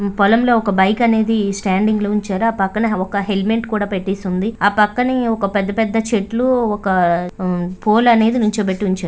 పొలంలో ఒక బైక్ అనేది స్టాండింగ్ లో ఉంచారు.. ఆ పక్కన ఒక హెల్మెట్ కూడా పెట్టేసి ఉంది. ఆ పక్కనే ఒక పెద్ద పెద్ద చెట్లు ఒక పోల్ అనేది నిల్చోబెట్టి ఉంచా--